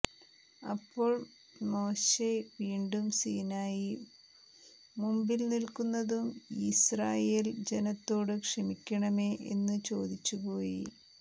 അപ്പോൾ മോശെ വീണ്ടും സീനായി മുമ്പിൽ നിലക്കുന്നതും യിസ്രായേൽ ജനത്തോടു ക്ഷമിക്കേണമേ എന്നു ചോദിച്ചു പോയി